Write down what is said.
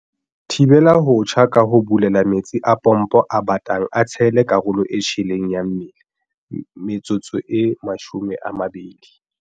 "Thibela ho tjha ka ho bulela metsi a pompo a batang a tshele karolo e tjheleng ya mmele metsotso e 20."